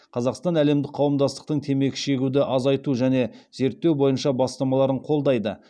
қазақстан әлемдік қауымдастықтың темекі шегуді азайту және зерттеу бойынша бастамаларын қолдайды